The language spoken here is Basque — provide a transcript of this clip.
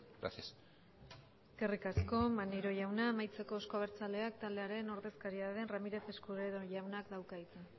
gracias eskerrik asko maneiro jauna amaitzeko euzko abertzaleak taldearen ordezkaria den ramírez escudero jaunak dauka hitza